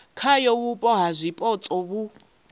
khayo vhupo ha zwipotso vhu